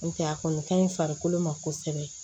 N'o tɛ a kɔni ka ɲi farikolo ma kosɛbɛ